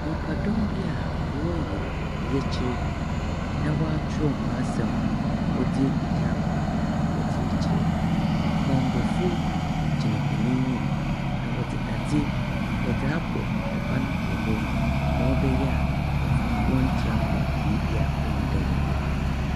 Nnipadɔm bi a wɔreyɛ yɛkyerɛ, na wɔatwerɛ hɔn asɛm wɔdze egu taaboo do wɔde rekyerɛ. Bambɔfoɔ gyina hɔn enyim, na wɔdeɛ dadze wɔdze abɔ ban wɔ hɔ, ma ɔbɛyɛ a nkurɔfoɔ no wɔntra mba beebi a onyi dɛ wɔkɔ.